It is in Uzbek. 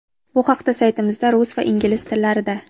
Bu haqda saytimizda rus va ingliz tillarida:.